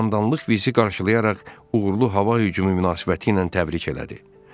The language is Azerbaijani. Komandanlıq bizi qarşılayaraq uğurlu hava hücumu münasibətilə təbrik elədi.